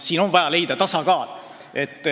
Siin on vaja leida tasakaal.